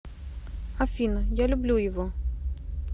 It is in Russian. афина я люблю его